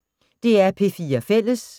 DR P4 Fælles